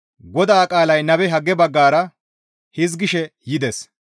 GODAA qaalay nabe Hagge baggara hizgishe yides.